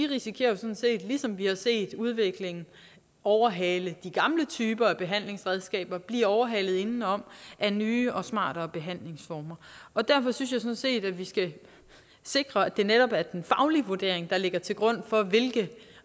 risikerer sådan set ligesom vi har set udviklingen overhale de gamle typer af behandlingsredskaber at blive overhalet indenom af nye og smartere behandlingsformer derfor synes jeg sådan set at vi skal sikre at det netop er den faglige vurdering der ligger til grund for hvilke